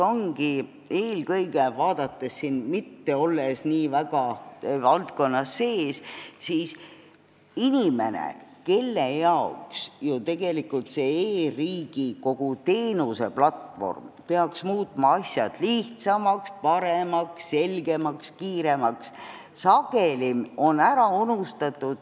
Küsimus ongi eelkõige selles, et inimene, kes ei ole nii väga selle valdkonna sees ja kellele kogu see e-riigi teenuseplatvorm peaks muutma asjad lihtsamaks, paremaks, selgemaks ja kiiremaks, on sageli ära unustatud.